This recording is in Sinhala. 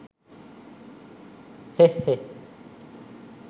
හෙහ් හෙහ්